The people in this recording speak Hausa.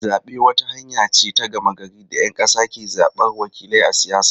Zabe wata hanya ce ta gama gari da ‘yan kasa ke zabar wakilai a siyasa.